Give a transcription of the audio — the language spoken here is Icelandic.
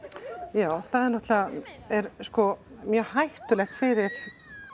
já náttúrulega er sko mjög hættulegt fyrir